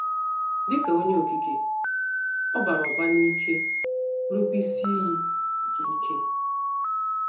Dị ka Onye Okike, ọ ‘ bara ụba n’ike, ’ bụrụkwa Isi Iyi nke “ ike. ”